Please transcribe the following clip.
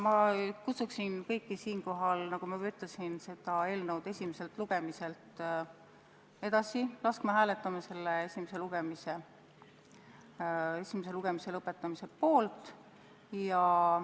Ma kutsun kõiki, nagu ma juba ütlesin, laskma selle eelnõu esimeselt lugemiselt edasi, hääletades esimese lugemise lõpetamise poolt.